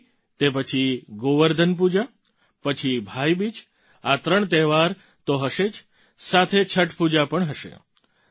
દિવાળી તે પછી ગોવર્ધન પૂજા પછી ભાઈ બીજ આ ત્રણ તહેવાર તો હશે જ સાથે છઠ પૂજા પણ હશે